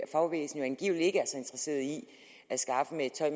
fagbevægelsen angivelig ikke er så interesseret i at skaffe ved at